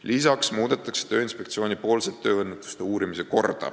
Lisaks muudetakse tööõnnetuste uurimise korda Tööinspektsioonis.